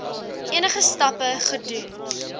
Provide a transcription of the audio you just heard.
enige stappe gedoen